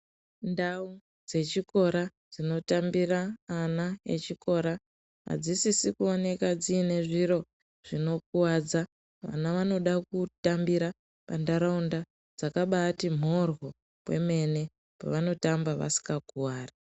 Ndau dzechikora dzinotambira vana vechikora adzisisi kuonekwa dziine zviro zvinokuwadza. Vana vanoda kutambira panharaunda dzakabaati mhoryo kwemene pavanotamba vasinga kuwari.